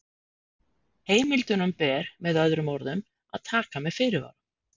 Heimildunum ber, með öðrum orðum, að taka með fyrirvara.